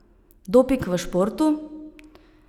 Doping v športu?